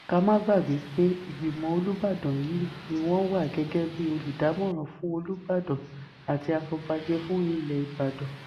ká má gbàgbé pé ìgbìmọ̀ olùbàdàn yìí ni wọ́n wà gẹ́gẹ́ bíi olùdámọ̀ràn fún olùbàdàn àti àfọ̀bàjẹ́ fún ilẹ̀ ìbàdàn